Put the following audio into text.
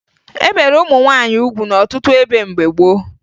E bere ụmụ nwaanyị ugwu n'ọtụtụ ebe mgbe gboo